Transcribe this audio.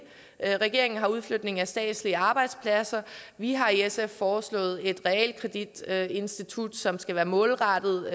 regeringen har udflytningen af statslige arbejdspladser vi har i sf foreslået et realkreditinstitut som skal være målrettet